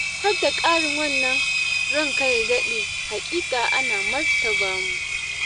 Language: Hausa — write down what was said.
Har da ƙarin wannan ranka ya daɗe haƙiƙa an martaba mu.